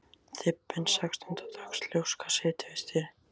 Þybbin sextánda dags ljóska situr við stýrið.